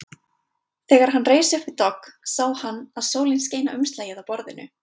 Þegar hann reis upp við dogg sá hann að sólin skein á umslagið á borðinu.